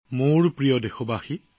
মোৰ প্ৰিয় দেশবাসী